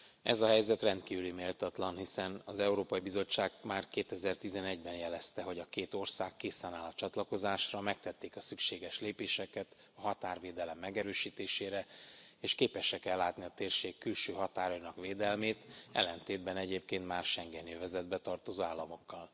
Ez a helyzet rendkívül méltatlan, hiszen az Európai Bizottság már 2011 ben jelezte, hogy a két ország készen áll a csatlakozásra, megtették a szükséges lépéseket a határvédelem megerősítésére és képesek ellátni a térség külső határainak védelmét ellentétben egyébként más, schengeni övezetbe tartozó államokkal.